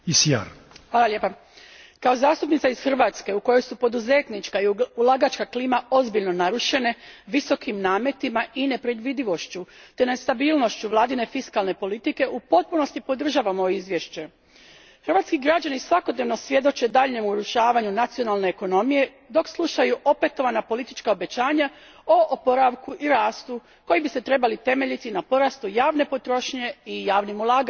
Hvala lijepa gospodine predsjedniče, kao zastupnica iz Hrvatske, u kojoj su poduzetnička i ulagačka klima ozbiljno narušene visokim nametima i nepredvidivošću te nestabilnošću vladine fiskalne politike, u potpunosti podržavam ovo izvješće. Hrvatski građani svakodnevno svjedoče daljnjem urušavanju nacionalne ekonomije dok slušaju opetovana politička obećanja o oporavku i rastu koji bi se trebali temeljiti na porastu javne potrošnje i javnim ulaganjima.